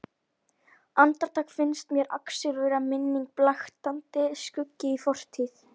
Andartak finnst mér Axel vera minning, blaktandi skuggi í fortíð.